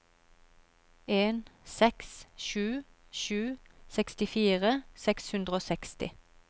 en seks sju sju sekstifire seks hundre og seksti